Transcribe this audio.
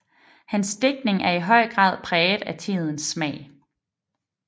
Hans digtning er i høj grad præget af tidens smag